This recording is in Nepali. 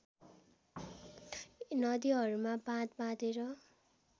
नदीहरूमा बाँध बाँधेर